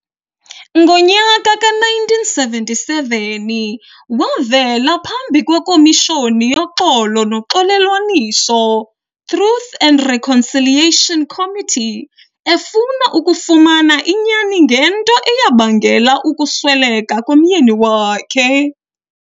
Ngonyaka ka -1977 wavela phambi kwekomishoni yoxolo noxolelwaniso, Truth and Reconciliation Committee, efuna ukufumana inyani ngento eyabangela ukusweleka komyeni wakhe.